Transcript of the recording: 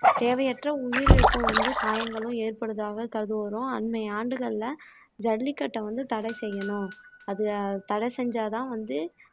தேவையற்ற உயிரிழப்பும் வந்து காயங்களும் ஏற்படுவதாக கருதுவதும் அன்மை ஆண்டுகள்ல ஜல்லிக்கட்டை வந்து தட செய்யணும் அது தடை செஞ்சாதான் வந்து